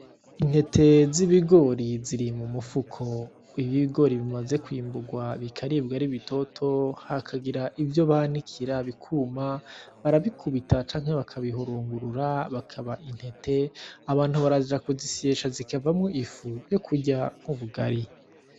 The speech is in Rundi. Intete z'ibigori ziri mumufuko. Iyo ibigori bimaze kwimbugwa bikaribwa ari bitoto, hakagira ivyo banikira bikuma, barabikubita canke bakabihungurura bikaba intete. Abantu baraja kuzisyesha zikavamwo ifu yo kurya ubugari.